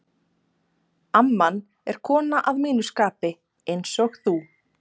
amman er kona að mínu skapi, einsog þú.